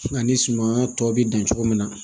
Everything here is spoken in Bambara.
Ani sumaya tɔ bi dan cogo min na